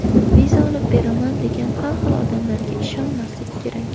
Viza olib beraman degan har xil odamlarga ishonmaslik kerak.